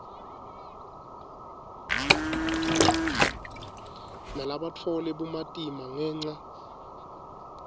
labatfole bumatima ngenca